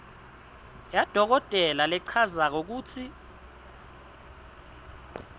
yadokotela lechazako kutsi